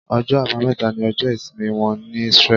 Ọjọ́ àbámẹ́ta ní ọjọ ìsìnmi wọ́n ní Israel.